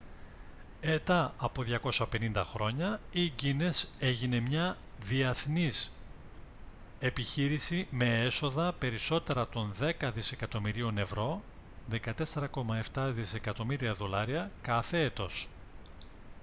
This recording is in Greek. ετά από 250 χρόνια η guiness έγινε μια διαθνής επιχείρηση με έσοδα περισσότερα των δέκα δισεκατομμυρίων ευρώ 14.7 δισεκατομμύρια δολάρια κάθε έτος